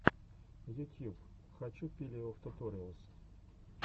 ютьюб хочу пилеофтуториалс